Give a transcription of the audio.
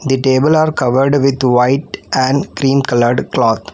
The table are covered with white and cream-colored cloth.